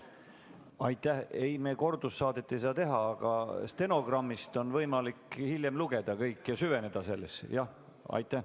Ei, me kordussaadet ei saa teha, aga stenogrammist on võimalik hiljem lugeda kõike ja süveneda sellesse.